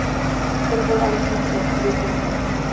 hver voru algeng nöfn víkinga